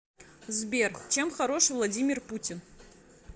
сбер чем хорош владимир путин